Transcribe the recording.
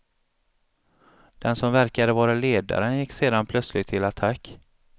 Den som verkade vara ledaren gick sedan plötsligt till attack.